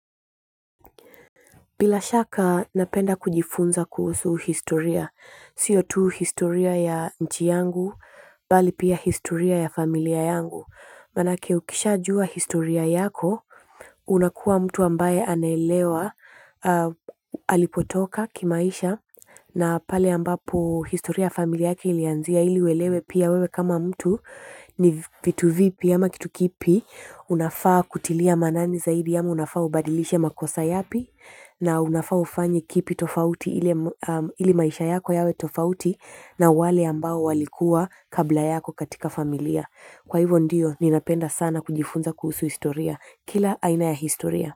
Bila shaka napenda kujifunza kuhusu historia. Sio tu historia ya nchi yangu, bali pia historia ya familia yangu. Manake ukishajua historia yako, unakuwa mtu ambaye anaelewa alipotoka kimaisha na pale ambapo historia ya familia yake ilianzia ili uelewe pia wewe kama mtu vitu vipi ama kitu kipi unafaa kutilia maanani zaidi ama unafaa ubadilishe makosa yapi na unafaa ufanye kipi tofauti ili maisha yako yawe tofauti na wale walikuwa kabla yako katika familia kwa hivyo ndiyo, ninapenda sana kujifunza kuhusu historia. Kila aina ya historia.